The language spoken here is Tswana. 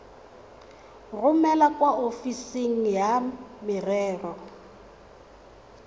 romele kwa ofising ya merero